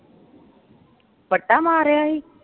ਵੱਟਾ ਮਾਰਿਆ ਹੀ?